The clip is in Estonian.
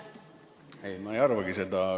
Ei, ma ei arvagi seda.